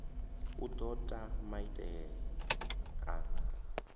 u do ta maiteie na